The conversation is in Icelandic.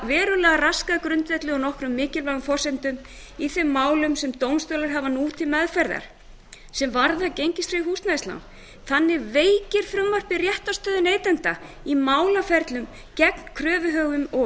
verulega raskað grundvelli á nokkrum mikilvægum forsendum í þeim málum sem dómstólar hafa nú til meðferðar sem varða gengistryggð húsnæðismál þannig veikir frumvarpið réttarstöðu neytenda í málaferlum gegn kröfuhöfum og